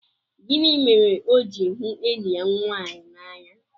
Gịnị mere o ji hụ enyi ya nwaanyị n'anya?